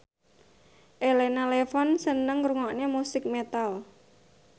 Elena Levon seneng ngrungokne musik metal